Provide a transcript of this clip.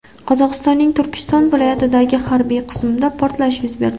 Qozog‘istonning Turkiston viloyatidagi harbiy qismda portlash yuz berdi .